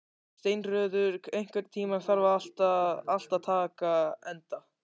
Steinröður, einhvern tímann þarf allt að taka enda.